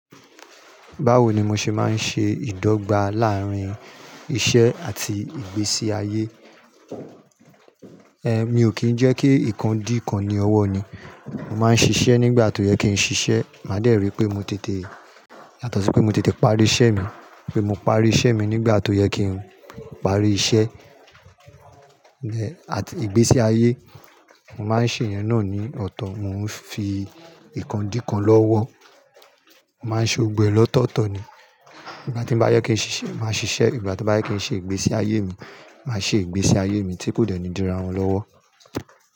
Báwo ni mo ṣe máa ń ṣe ìdọ́gba láàárín iṣẹ́ àti ìgbésí ayé? Eh, mi ò kí ń jẹ́ kí nǹkan dí nǹkan ní ọwọ́ ni. Mo máa ń ṣiṣẹ́ nígbà tó yẹ kí n ṣiṣẹ́. Màá dẹ̀ ri pé mo tètè, yátọ̀sí pé mo tètè parí iṣẹ́ mi, pé mo parí iṣẹ́ mi nígbà tó yẹ kí n parí iṣẹ́. Ẹ̀, àti ìgbésí ayé, mo má ń ṣe ìyẹn náà ní ọ̀tọ̀. Mo ń fi ìkán dí kàn lọ́wọ́. Mo má ń ṣe ògbẹ lọ́tọ̀ọ̀tọ̀ ni. Ìgbà tí bá yẹ kí n ṣiṣẹ́, màá ṣiṣẹ́. Ìgbà tí bá yẹ kí n ṣe ìgbésí ayé mi, màá ṣe ìgbésí ayé mi tí kò dẹ́ni di rà wọn lọ́wọ́